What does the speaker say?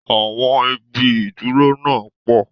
Awọn ibi ìdúró náà pò.